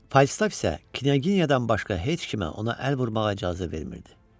Faustaf isə Knyaginyadan başqa heç kimə ona əl vurmağa icazə vermirdi.